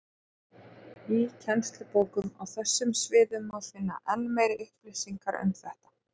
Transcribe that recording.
Í kennslubókum á þessum sviðum má finna enn meiri upplýsingar um þetta.